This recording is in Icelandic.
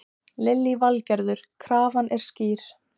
Lillý Valgerður: Krafan er skýr?